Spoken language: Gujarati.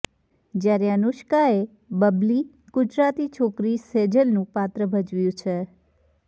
જ્યારે અનુષ્કાએ બબલી ગુજરાતી છોકરી સેજલનું પાત્ર ભજવ્યું છે